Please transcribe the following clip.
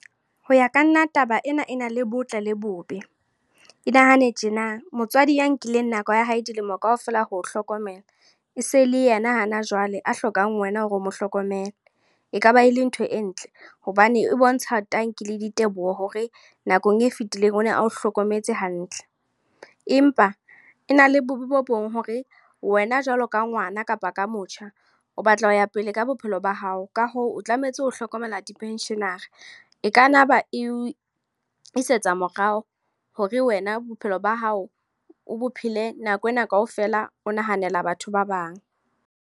Hoya ka nna, taba ena e na le botle le bobe. E nahane tjena, motswadi ya nkileng nako ya hae dilemo kaofela ho hlokomela. E se le yena hana jwale a hlokang wena hore o mo hlokomele. Ekaba e le ntho e ntle hobane e bontsha tanki le diteboho hore nakong e fetileng o ne a o hlokometse hantle. Empa e na le bobe bo bong hore wena jwalo ka ngwana kapa ka motjha o batla ho ya pele ka bophelo ba hao. Ka hoo, o tlametse ho hlokomela di-pension-era. E kana ba e o isetsa morao. Hore wena bophelo ba hao, o bo phele nako ena kaofela o nahanela batho ba bang.